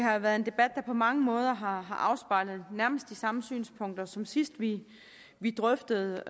har været en debat der på mange måder har afspejlet nærmest de samme synspunkter som sidst vi vi drøftede